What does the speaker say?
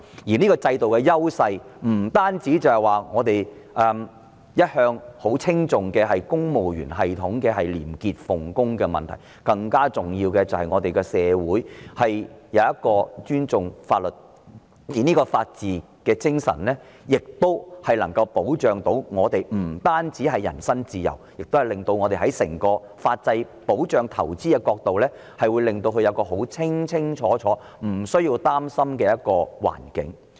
這種制度優勢不單是我們一向稱頌的公務員系統廉潔奉公，更重要的是我們的社會尊重法律，而這種法治精神不單能保障我們的人身自由，亦令整個法制在保障投資方面，提供一個清清楚楚、無須擔心的環境。